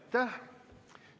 Aitäh!